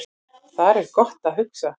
Þar er gott að hugsa